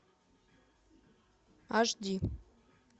аш ди